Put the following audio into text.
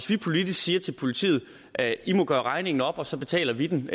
vi politisk siger til politiet at de må gøre regningen op og så betaler vi den